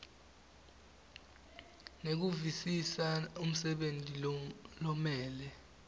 nekuvisisa umsebenti lomele